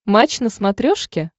матч на смотрешке